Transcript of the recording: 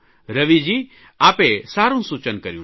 રવિજી આપે સારૂં સૂચન કર્યું છે